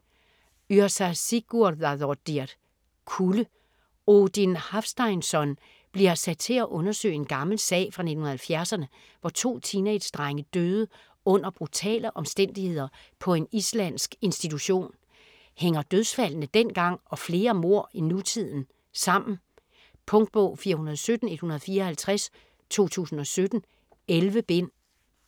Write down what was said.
Yrsa Sigurðardóttir: Kulde Odin Hafsteinsson bliver sat til at undersøge en gammel sag fra 1970'erne, hvor to teenagedrenge døde under brutale omstændigheder på en islandsk institution. Hænger dødsfaldene dengang og flere mord i nutiden sammen? Punktbog 417154 2017. 11 bind.